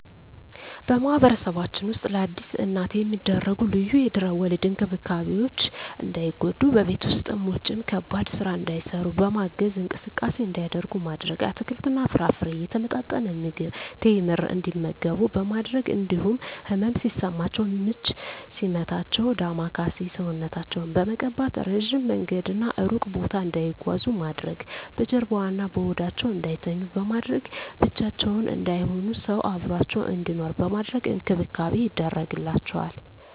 በማህበረሰባችን ውስጥ ለአዲስ እናት የሚደረጉ ልዩ የድህረ ወሊድ እንክብካቤዎች እንዳይጎዱ በቤት ውስጥም ውጭም ከባድ ስራ እንዳይሰሩ በማገዝ፣ እንቅስቃሴ እንዲያደርጉ ማድረግ፣ አትክልትና ፍራፍሬ፣ የተመጣጠነ ምግብ፣ ቴምር እንዲመገቡ በማድረግ እንዲሁም ህመም ሲሰማቸው ምች ሲመታቸው ዳማከሴ ሰውነታቸውን በመቀባት፣ እረጅም መንገድና እሩቅ ቦታ እንዳይጓዙ ማድረግ፣ በጀርባዋ እና በሆዳቸው እንዳይተኙ በማድረግ፣ ብቻቸውን እንዳይሆኑ ሰው አብሮአቸው እንዲኖር በማድረግ እንክብካቤ ይደረግላቸዋል።